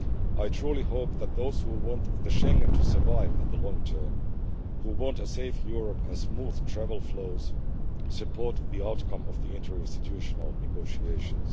I truly hope that those who want Schengen to survive in the long term, who want a safe Europe and smooth travel flows, support the outcome of the interinstitutional negotiations.